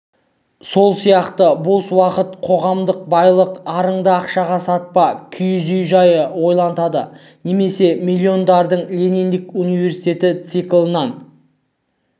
сол сияқты бос уақыт қоғамдық байлық арыңды ақшаға сатпа киіз үй жайы ойлантады немесе миллиондардың лениндік университеті циклынан